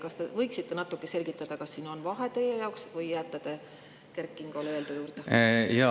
Kas te võiksite natuke selgitada, kas siin on teie jaoks vahe, või jääte te Kert Kingole öeldu juurde?